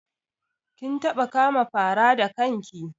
Kin taɓa kama fara da kan ki?